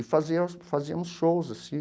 E fazia fazíamos shows assim.